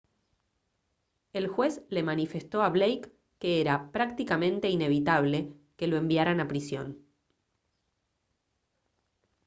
el juez le manifestó a blake que era «prácticamente inevitable» que lo enviaran a prisión